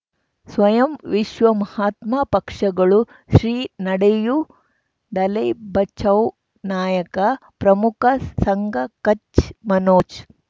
ಸ್ವಯಂ ವಿಶ್ವ ಮಹಾತ್ಮ ಪಕ್ಷಗಳು ಶ್ರೀ ನಡೆಯೂ ದಲೈ ಬಚೌ ನಾಯಕ ಪ್ರಮುಖ ಸಂಘ ಕಚ್ ಮನೋಜ್